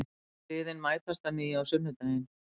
Liðin mætast að nýju á sunnudaginn